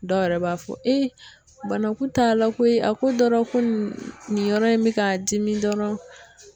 Dɔw yɛrɛ b'a fɔ banakun ta la koyi a ko dɔrɔn ko nin yɔrɔ in bɛ ka dimi dɔrɔn